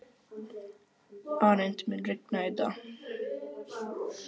Arent, mun rigna í dag?